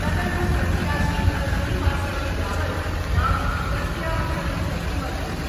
तदनु प्रत्याशिन शनिवासरं यावत् नाम प्रत्यावर्तनं कर्तुमर्हन्ति।